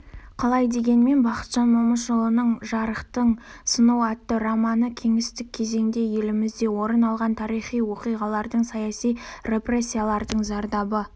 қалай дегенмен бақытжан момышұлының жарықтың сынуы атты романы кеңестік кезеңде елімізде орын алған тарихи оқиғалардың саяси репрессиялардың зардабы